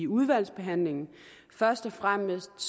udvalgsbehandlingen først og fremmest